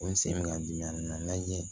O n sen bɛ n dimi a ma lajɛ